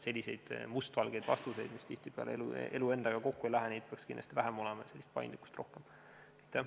Selliseid mustvalgeid vastuseid, mis tihtipeale elu endaga kokku ei lähe, peaks kindlasti olema vähem ja paindlikkust oleks vaja rohkem.